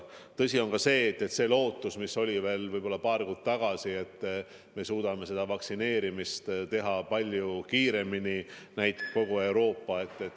Tõsi on ka see, et see lootus, mis oli veel paar kuud tagasi, et me suudame kogu Euroopas vaktsineerimist teha palju kiiremini, pole täitunud.